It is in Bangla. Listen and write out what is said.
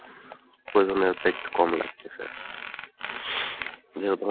প্রয়োজনীয়তা একটু কম লাগতেছে , যেহেতু